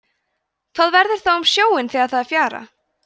hvað verður þá um sjóinn þegar það er fjara